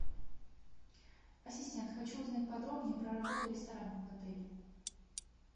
ассистент хочу узнать подробнее про работу ресторанов в отеле